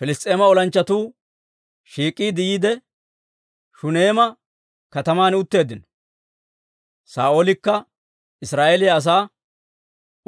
Piliss's'eema olanchchatuu shiik'iide yiide, Shuneema kataman utteeddino; Saa'oolekka Israa'eeliyaa asaa